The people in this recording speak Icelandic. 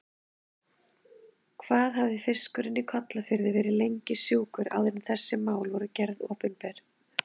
Hvað hafði fiskurinn í Kollafirði verið lengi sjúkur áður en þessi mál voru gerð opinber?